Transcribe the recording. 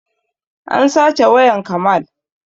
An sace wayan kamal